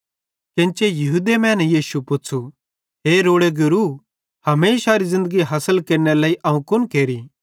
केन्ची यहूदी मैने यीशुए पुच़्छ़ू हे रोड़े गुरू हमेशारी ज़िन्दगी हासिल केरनेरे लेइ अवं कुन केरि